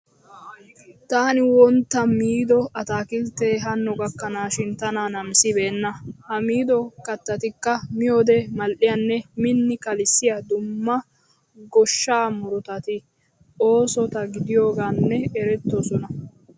Taani wontta miido ataakilttee hanno gakkanaashin tana namisissibeenna. Ha miido kattatikka miyode mal'iyanne miini kalissiya dumma goshshaa murutati oosota gidiyogaan erettoosona.